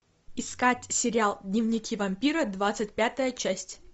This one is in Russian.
искать сериал дневники вампира двадцать пятая часть